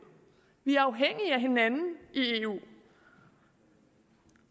vi er afhængige af hinanden i eu